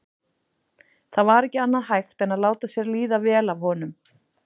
Það var ekki annað hægt en láta sér líða vel af honum.